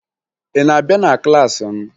Ị na-abịa na klaasị m?